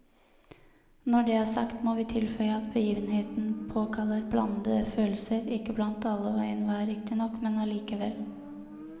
Når det er sagt, må vi tilføye at begivenheten påkaller blandede følelser, ikke blant alle og enhver riktignok, men allikevel.